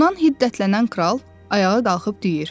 Bundan hiddətlənən kral ayağa qalxıb deyir: